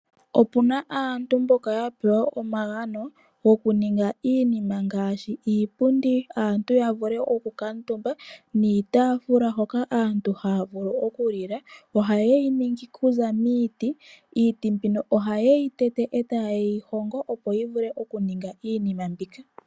Opu na aantu mboka ya pewa omagano goku ninga iinima ngaashi iipundi aantu ya vule oku kuutumba, niitaafula hoka aantu haya vulu oku lila. Ohayeyi ningi oku za miiti, iiti mbino ohaye yi tete, etaye yi hongo opo yi vule oku ninga iinima mbika.